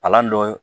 Palan dɔ